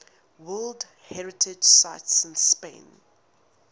world heritage sites in spain